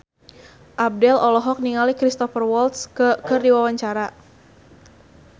Abdel olohok ningali Cristhoper Waltz keur diwawancara